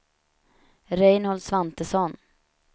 Reinhold Svantesson